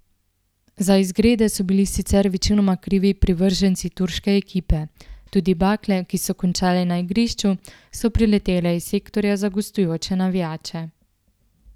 Za izgrede so bili sicer večinoma krivi privrženci turške ekipe, tudi bakle, ki so končale na igrišču, so priletele iz sektorja za gostujoče navijače.